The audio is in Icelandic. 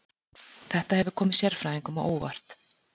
Þetta hefur komið sérfræðingum á óvart